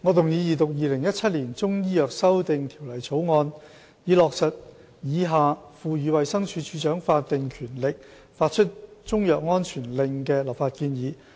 主席，我動議二讀《2017年中醫藥條例草案》，以落實以下賦予衞生署署長法定權力發出中藥安全令的立法建議。